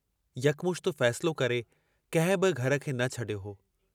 यकमुश्त फ़ैसिलो करे कंहिं बि घर खे न छॾियो हो।